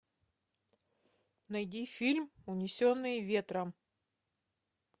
найди фильм унесенные ветром